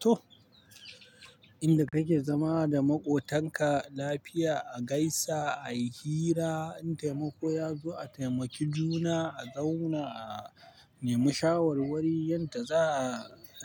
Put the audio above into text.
To, inda kake zama da maƙotanka lafiya, a gaisa, ai hira, in taimako ya zo a taimaki juna, a zauna a nemi shawarwari yadda za